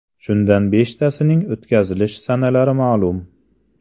Shundan beshtasining o‘tkazilish sanalari ma’lum.